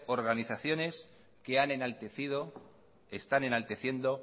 organizaciones que han enaltecido están enalteciendo